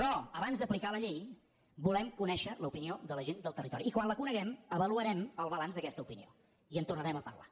però abans d’aplicar la llei volem conèixer l’opinió de la gent del territori i quan la coneguem avaluarem el balanç d’aquesta opinió i en tornarem a parlar